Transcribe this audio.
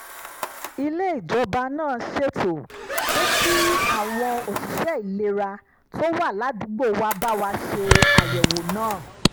ilé-ìwòsàn ìjọba náà ṣètò pé kí àwọn òṣìṣẹ́ ìlera tó wà ládùúgbò wa bá wa ṣe àyẹ̀wò náà